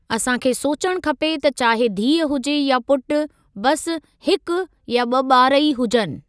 असांखे सोचणु खपे त चाहे धीउ हुजे या पुटु बसि हिकु या ब॒ बार ई हुजनि।